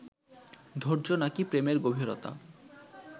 ধৈর্য নাকি প্রেমের গভীরতা